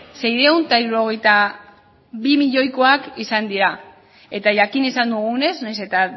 seiehun eta hirurogeita bi milioikoak izan dira eta jakin izan dugunez nahiz eta